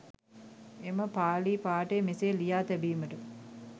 එම පාලි පාඨය මෙසේ ලියා තැබීමට